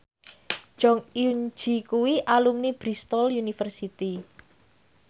Jong Eun Ji kuwi alumni Bristol university